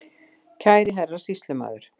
Kæri Herra Sýslumaður